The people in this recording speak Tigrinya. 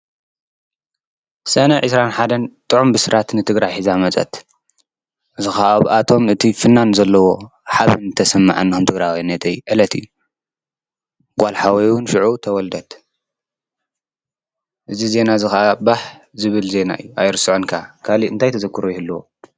ሰነ ዒስራን ሓደን ጥዑም ብስራት ንትግራይ ሒዛ መፀት። አዚ ኸ ኣብ ኣቶም እቲ ፍናን ዘለዎ ሓብን ተሰምዐና ከም ትግራዋይነተይ ዕለቲ እዩ። ጓል ሓወዩ እውን ሽዑ ተወልደት፣ እዚ ዜና እዚ ኻዓ ባሕ ዝብል ዜና እዩ ኣይርስዖን ካዓ ካሊ እንታይ ተዘክሩ ይህልዎ።